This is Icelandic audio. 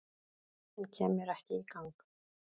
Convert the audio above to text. En kem mér ekki í gang